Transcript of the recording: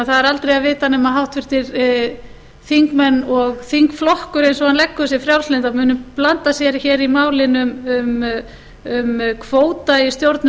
er aldrei að vita nema að háttvirtir þingmenn og þingflokkur eins og hann leggur sig frjálslyndra muni blanda sér hér í málin um kvóta í stjórnun